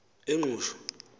ingqushwa